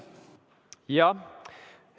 Jah.